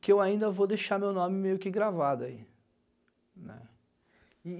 Que eu ainda vou deixar meu nome meio que gravado aí.